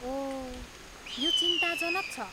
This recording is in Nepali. ओह, यो चिन्ताजनक छ।